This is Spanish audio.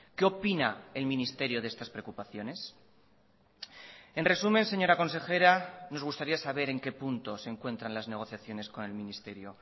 qué opina el ministerio de estas preocupaciones en resumen señora consejera nos gustaría saber en qué punto se encuentran las negociaciones con el ministerio